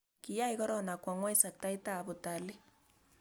Kiyai korona kwa ng'weny sektait ab Utalii